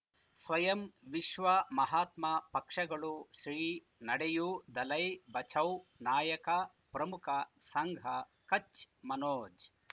ಸ್ವಯಂ ವಿಶ್ವ ಮಹಾತ್ಮ ಪಕ್ಷಗಳು ಶ್ರೀ ನಡೆಯೂ ದಲೈ ಬಚೌ ನಾಯಕ ಪ್ರಮುಖ ಸಂಘ ಕಚ್ ಮನೋಜ್